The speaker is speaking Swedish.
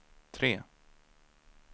tre